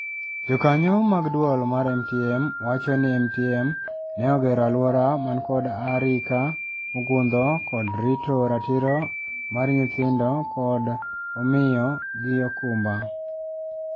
Jokanyo mag duol mar MTM wacho ni MTM ne ogero aluor man kod arika mogundho kod rito ratiro mar nyithindo kod omiyo gi okumba.